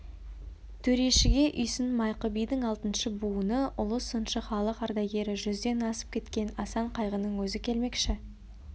төрешіге үйсін майқы бидің алтыншы буыны ұлы сыншы халық ардагері жүзден асып кеткен асан қайғының өзі келмекші